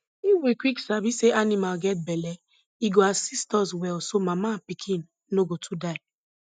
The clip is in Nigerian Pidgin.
if we quick sabi say animal get belle e go assist us well so mama and pikin no go too die